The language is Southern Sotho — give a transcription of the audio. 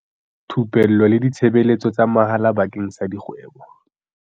Thupello le ditshebeletso tsa mahala bakeng sa dikgwebo